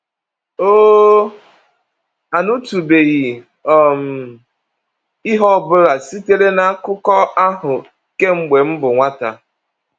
“Oo, anụtụbeghị um m ihe ọ bụla sitere n’Akụkọ ahụ kemgbe m bụ nwata!”